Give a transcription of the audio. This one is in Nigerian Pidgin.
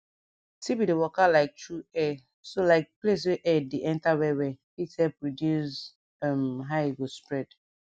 tb dey waka like tru air so like place wey air dey enter well well fit help reduce um how e go spread